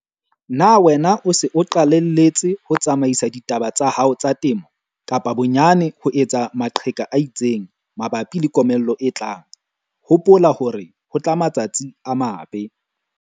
Na wena o se o qalelletse ho tsamaisa ditaba tsa hao tsa temo, kapa bonyane ho etsa maqheka a itseng, mabapi le komello e tlang? Hopola hore ho tla matsatsi a mabe.